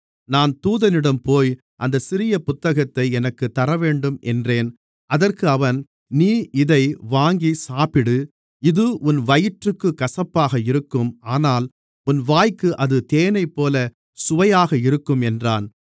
நான் தூதனிடம்போய் அந்தச் சிறிய புத்தகத்தை எனக்குத் தரவேண்டும் என்றேன் அதற்கு அவன் நீ இதை வாங்கிச் சாப்பிடு இது உன் வயிற்றுக்குக் கசப்பாக இருக்கும் ஆனால் உன் வாய்க்கு இது தேனைப்போலச் சுவையாக இருக்கும் என்றான்